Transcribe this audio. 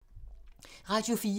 Radio 4